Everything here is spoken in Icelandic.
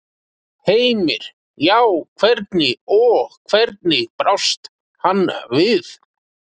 Heimir: Já, hvernig, og hvernig brást hann við?